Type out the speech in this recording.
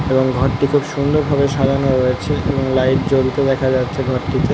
এবং ঘরটি সুন্দর ভাবে সাজানো রয়েছে এবং লাইট জ্বলতে দেখা যাচ্ছে ঘরটিতে ।